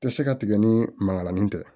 Tɛ se ka tigɛ ni mankalan tɛ